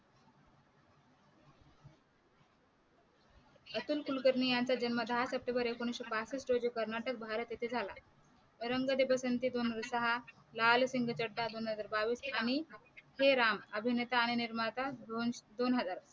अतुल कुलकर्णी यांचा जन्म दहा सप्टेंबर एकोणविशे पासठ रोजी कर्नाटक भारत येथे झाला. रंग दे बसंती दोन हजार सहा लाल सिंग चड्डा दोन हजार बावीस आणि हे राम अभिनेता आणि निर्माता दोन दोन हजार